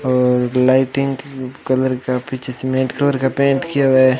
और lighting colour का पीछे सीमेंट कलर का पेंट किया हुआ है।